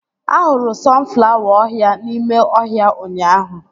Ahụrụ sọnflawa ọhịa n'ime ọhịa ụnyaahụ